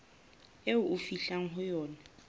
eo ho fihlwang ho yona